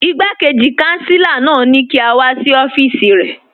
Ìgbàkéjì kànsílà náà ni kí a wà sí ọfíìsì rẹ.